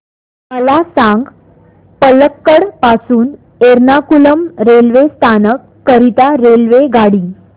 मला सांग पलक्कड पासून एर्नाकुलम रेल्वे स्थानक करीता रेल्वेगाडी